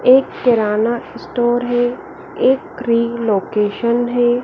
एक केराना स्टोअर है एक ग्री लोकेशन है।